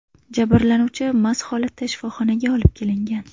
Jabrlanuvchi mast holatda shifoxonaga olib kelingan .